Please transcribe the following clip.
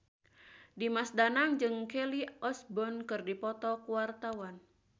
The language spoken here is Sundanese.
Dimas Danang jeung Kelly Osbourne keur dipoto ku wartawan